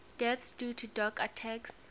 deaths due to dog attacks